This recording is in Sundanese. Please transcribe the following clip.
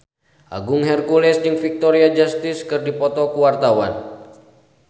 Agung Hercules jeung Victoria Justice keur dipoto ku wartawan